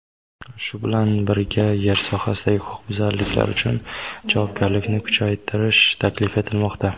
Shu bilan birga yer sohasidagi huquqbuzarliklar uchun javobgarlikni kuchaytirish taklif etilmoqda.